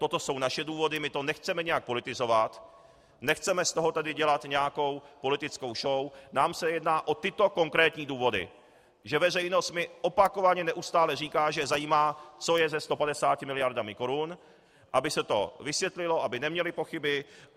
Toto jsou naše důvody, my to nechceme nějak politizovat, nechceme z toho tady dělat nějakou politickou show, nám se jedná o tyto konkrétní důvody, že veřejnost mi opakovaně neustále říká, že je zajímá, co je se 150 miliardami korun, aby se to vysvětlilo, aby neměli pochyby.